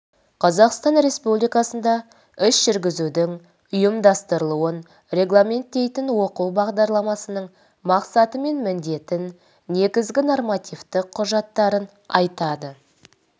қазақстан республикасында іс жүргізудің ұйымдастырылуын регламенттейтін оқу бағдарламасының мақсаты мен міндетін негізгі нормативтік құжаттарын айтады